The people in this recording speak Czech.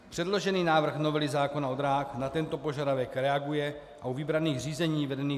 Předložený návrh novely zákona o dráhách na tento požadavek reaguje a u vybraných řízení vedených